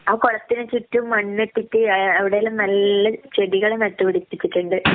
ആ കുളത്തിന് ചുറ്റും മണ്ണിട്ടിട്ട് ആ അവിടെയെല്ലാം നല്ല ചെടികള് നട്ട് പിടിപ്പിച്ചിട്ടുണ്ട്.